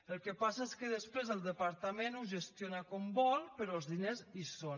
el que passa és que després el departament ho gestiona com vol però els diners hi són